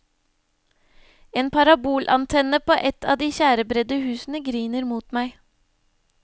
En parabolantenne på et av de tjærebredde husene griner mot meg.